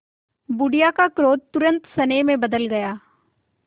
बुढ़िया का क्रोध तुरंत स्नेह में बदल गया